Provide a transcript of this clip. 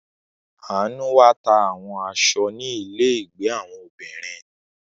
Anu wá ta àwọn aṣọ ni ile ìgbé àwọn obìnrin.